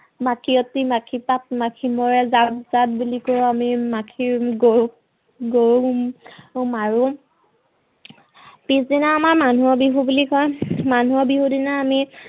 মাখিয়তী মাখিপাত মাখি মৰে জাক জাক বুলি কৈ আমি মাখি গৰু গৰু মাৰো। পিছদিনা আমাৰ মানুহৰ বিহু বুলি কয়, মানুহৰ বিহুৰ দিনা আমি